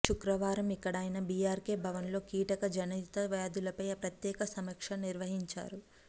శుక్రవారం ఇక్కడ ఆయన బీఆర్కే భవన్లో కీటక జనిత వ్యాధులపై ప్రత్యేక సమీక్ష నిర్వహింరు